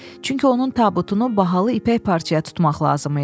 Çünki onun tabutunu bahalı ipək parçaya tutmaq lazım idi.